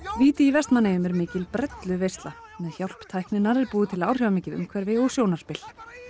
víti í Vestmannaeyjum er mikil með hjálp tækninnar eru búið til áhrifamikið umhverfi og sjónarspil